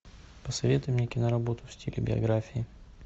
посоветуй мне киноработу в стиле биографии